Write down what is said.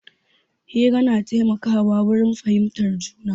Hira na taimaka wa wurin fahimtar juna.